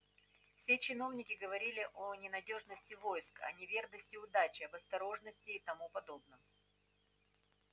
все чиновники говорили о ненадёжности войск о неверности удачи об осторожности и тому подобном